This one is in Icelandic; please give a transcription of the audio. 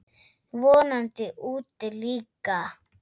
Vonandi úti líka.